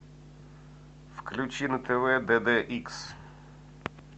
включи на тв дд икс